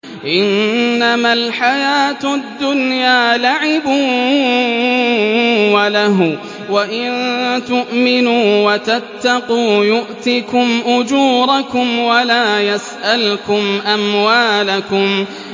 إِنَّمَا الْحَيَاةُ الدُّنْيَا لَعِبٌ وَلَهْوٌ ۚ وَإِن تُؤْمِنُوا وَتَتَّقُوا يُؤْتِكُمْ أُجُورَكُمْ وَلَا يَسْأَلْكُمْ أَمْوَالَكُمْ